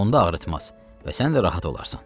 Onda ağrıtmaz və sən də rahat olarsan.